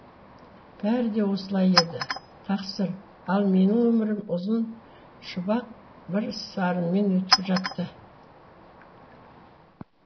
бәрі де осылай еді тақсыр ал менің өмірім ұзын шұбақ бір сарынмен өтіп жатты